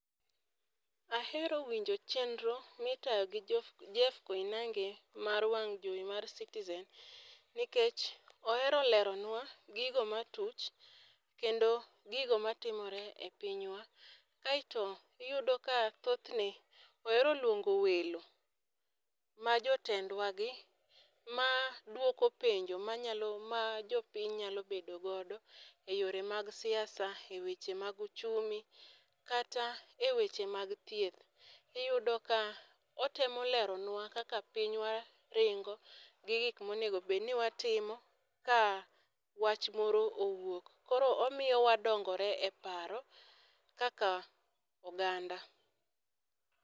Ahero winjo chenro mi itayo gi Jeff Koinange mar wang' jowi mar citizen nikech ohero leronwa gigo ma tuch kendo gigo ma timore e pinywa. Aito iyudo ka thoth ne ohero lwongo welo ma jotendwa gi ma dwoko penjo ma jo piny nyalo bedo go e yore mag siasa,e weche mag uchumi kata e weche mag thieth. Iyudo ka otemo leronwa kaka pinywa ringo gi gik ma onego bed ni watimo ka wach moro owuok. Koro omiyo wadongore e paro kaka oganda.